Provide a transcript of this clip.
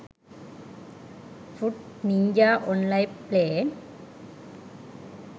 fruit ninja online play